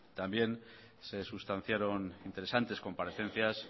también se sustanciaron interesantes comparecencias